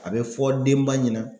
A bɛ fɔ denba ɲɛna